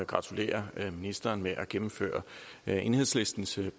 gratulere ministeren med at gennemføre enhedslistens